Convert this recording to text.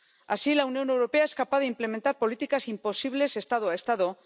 Así, la Unión Europea es capaz de implementar políticas imposibles Estado a Estado.